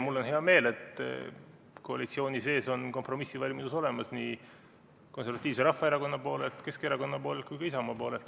Mul on hea meel, et koalitsiooni sees on kompromissivalmidus olemas nii Konservatiivse Rahvaerakonna poolelt, Keskerakonna poolelt kui ka Isamaa poolelt.